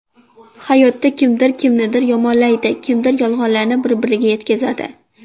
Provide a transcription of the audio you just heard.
Hayotda kimdir kimnidir yomonlaydi, kimdir yolg‘onlarni bir-biriga yetkazadi.